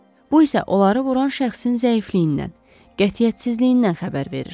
Bu isə onları vuran şəxsin zəifliyindən, qətiyyətsizliyindən xəbər verir.